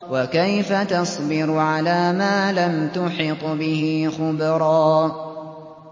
وَكَيْفَ تَصْبِرُ عَلَىٰ مَا لَمْ تُحِطْ بِهِ خُبْرًا